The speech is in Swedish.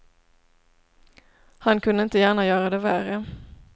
Han kunde inte gärna göra det värre.